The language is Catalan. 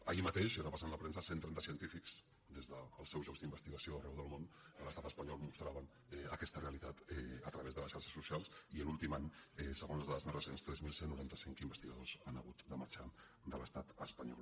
ahir mateix i repassant la premsa cent i trenta científics des dels seus llocs d’investigació arreu del món de l’estat espanyol mostraven aquesta realitat a través de les xarxes socials i l’últim any segons les dades més recents tres mil cent i noranta cinc investigadors han hagut de marxar de l’estat espanyol